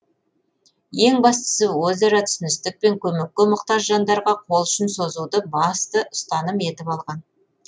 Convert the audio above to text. ең бастысы өзара түсіністік пен көмекке мұқтаж жандарға қол ұшын созуды басты ұстаным етіп алған